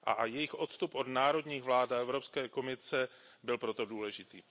Jejich odstup od národních vlád a Evropské komise byl proto důležitý.